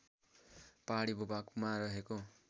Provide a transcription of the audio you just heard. पहाडी भूभागमा रहेको